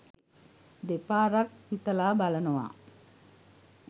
දෙපාරක් හිතලා බලනවා.